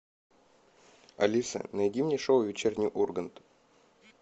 алиса найди мне шоу вечерний ургант